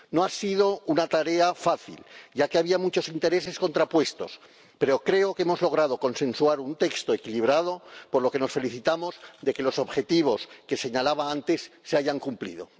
No ha sido una tarea fácil, ya que había muchos intereses contrapuestos, pero creo que hemos logrado consensuar un texto equilibrado, por lo que nos felicitamos de que los objetivos que señalaba antes se hayan cumplido.